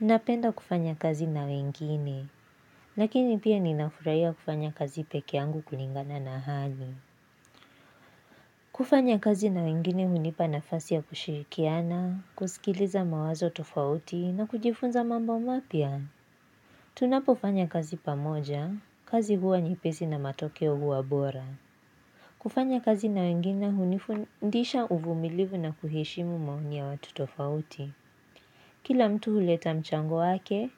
Napenda kufanya kazi na wengine Lakini pia ninafurahiya kufanya kazi peke yangu kulingana na hali kufanya kazi na wengine hunipa nafasi ya kushirikiana kusikiliza mawazo tofauti na kujifunza mambo mapya Tunapofanya kazi pamoja, kazi huwa nyepesi na matokeo huwa bora kufanya kazi na wengine hunifundisha uvumilivu na kuheshimu maoni ya watu tofauti Kila mtu huleta mchango wake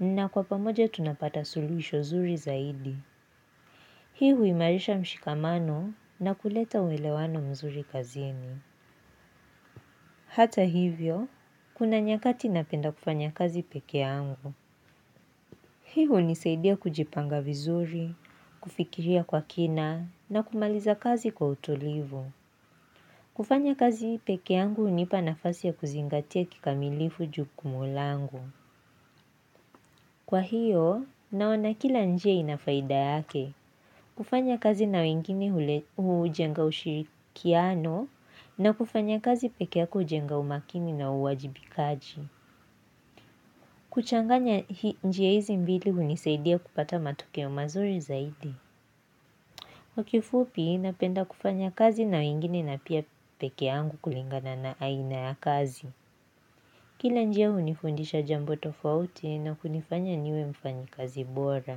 na kwa pamoja tunapata solution zuri zaidi. Hii huimarisha mshikamano na kuleta uwelewano mzuri kazini. Hata hivyo, kuna nyakati napenda kufanya kazi peke yangu. Hii hunisaidia kujipanga vizuri, kufikiria kwa kina na kumaliza kazi kwa utulivu. Kufanya kazi peke yangu hunipa nafasi ya kuzingatia kikamilifu jukumu langu. Kwa hiyo, naona kila njia ina faida yake. Kufanya kazi na wengine hule hujenga ushirikiano na kufanya kazi peke yako hujenga umakini na uwajibikaji. Kuchanganya hi njia hizi mbili hunisaidia kupata matokeo mazuri zaidi. Kwa kifupi, napenda kufanya kazi na wengine na pia peke yangu kulingana na aina ya kazi. Kila njia hunifundisha jambo tofauti na kunifanya niwe mfanyi kazi bora.